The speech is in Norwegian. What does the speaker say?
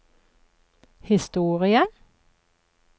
historie